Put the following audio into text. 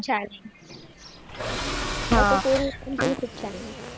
छान आहे. त्याच कोरीव काम केलेलं पण खूप छान आहे.